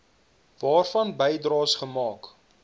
waarvan bydraes gemaak